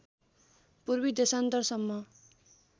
पूर्वी देशान्तर सम्म